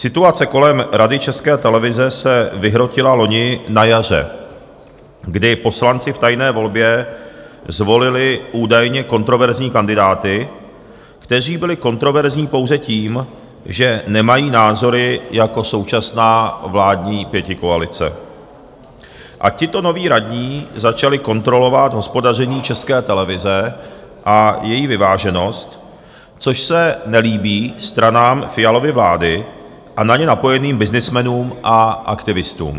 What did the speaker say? Situace kolem Rady České televize se vyhrotila loni na jaře, kdy poslanci v tajné volbě zvolili údajně kontroverzní kandidáty, kteří byli kontroverzní pouze tím, že nemají názory jako současná vládní pětikoalice, a tito noví radní začali kontrolovat hospodaření České televize a její vyváženost, což se nelíbí stranám Fialovy vlády a na ně napojeným byznysmenům a aktivistům.